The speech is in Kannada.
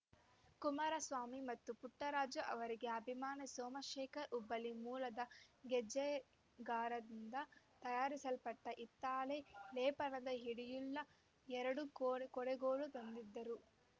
ಕುಮಾರಸ್ವಾಮಿ ಮತ್ತು ಪುಟ್ಟರಾಜು ಅವರಿಗೆ ಅಭಿಮಾನಿ ಸೋಮಶೇಖರ್‌ ಹುಬ್ಬಳ್ಳಿ ಮೂಲದ ಗೆಜ್ಜೆಗಾರರಿಂದ ತಯಾರಿಸಲ್ಪಟ್ಟಹಿತ್ತಾಳೆ ಲೇಪನದ ಹಿಡಿಯುಳ್ಳ ಎರಡು ಕೊಡ ಕೊಡುಗೋಲು ತಂದಿದ್ದರು